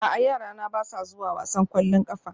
A'a yarana ba sa zuwa wasan ƙwallon ƙafa